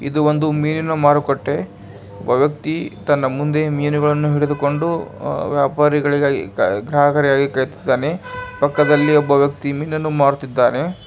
ಇದು ಒಂದು ಮೀನು ಮಾರುಕಟ್ಟೆ ಒಗತಿ ತನ್ನ ಮುಂದೆ ಮೀನುಗಳನ್ನು ಹಿಡಿದುಕೊಂಡು ಗ್ರಾಹಕರಿಗಾಗಿ ಕಾಯುತ್ತಿದ್ದಾನೆ ಪಕ್ಕದಲ್ಲಿ ಒಬ್ಬ ವ್ಯಕ್ತಿ ಮೀನುನ್ನು ಮಾಡುತ್ತಿದ್ದಾನೆ.